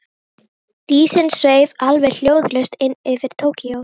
Dísin sveif alveg hljóðlaust inn yfir Tókýó.